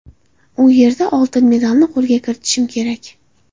U yerda oltin medalni qo‘lga kiritishim kerak.